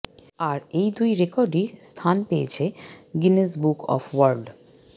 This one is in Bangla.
আর এ দুই রেকর্ডই স্থান পেয়েছে গিনেজ বুক অব ওয়ার্ল্ড